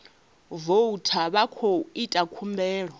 voutha vha khou ita khumbelo